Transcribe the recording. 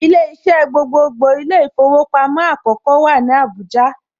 Ilé iṣẹ́ gbogbogbò ilé īfowòpamó àkókó wà ní Àbújá